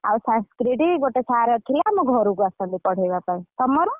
ଆଉ Sanskrit ଗୋଟେ sir ଥିଲେ ଆମ ଘରକୁ ଆସନ୍ତି ପଢେଇବାପାଇଁ ତମର?